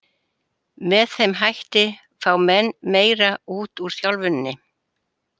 Með þeim hætti fá menn meira út úr þjálfuninni.